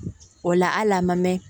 O la hali a ma mɛn